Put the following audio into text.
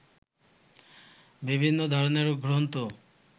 বিভিন্ন ধরনের গ্রন্থ